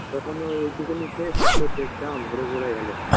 তখনই ওই ওইটুকুনি শেষ পেটটা ভোরে ভোরে গেল